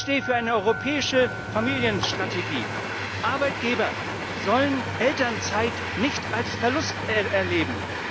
Ich stehe für eine europäische Familienstrategie. Arbeitgeber sollen Elternzeit nicht als Verlust erleben.